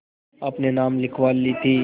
अपने नाम लिखवा ली थी